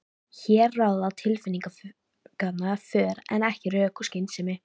Hér ráða tilfinningarnar för en ekki rök og skynsemi.